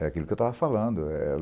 É aquilo que eu estava falando. Eh eh